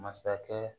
Masakɛ